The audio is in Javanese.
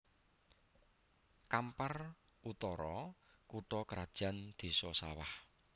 Kampar Utara kutha krajan Désa Sawah